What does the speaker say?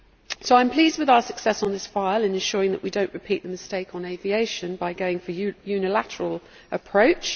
So I am pleased with our success on this file in ensuring that we do not repeat the mistake on aviation by going for a unilateral approach.